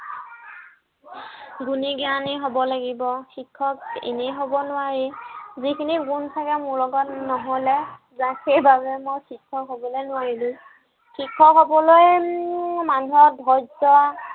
গুণী জ্ঞানী হব লাগিব। শিক্ষক এনেই হব নোৱাৰি। যিখিনি গুণ চাগে মোৰ লগত নহলে just সেইবাবে মই শিক্ষক হবলে নোৱাৰিলো। শিক্ষক হবলৈ উম মানুহৰ ধৈৰ্য